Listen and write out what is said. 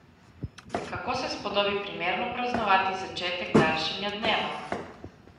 Kako se spodobi primerno praznovati začetek daljšanja dneva?